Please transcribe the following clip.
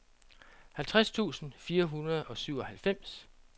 halvtreds tusind fire hundrede og syvoghalvfems